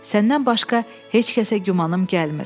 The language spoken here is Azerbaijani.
Səndən başqa heç kəsə gümanım gəlmir.